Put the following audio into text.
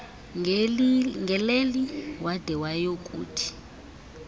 ngeleli wade wayokuthi